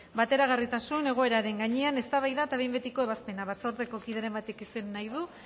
bateragarritasun egoeraren gainean eztabaida eta behin betiko ebazpena batzordeko kideren batek izen nahi du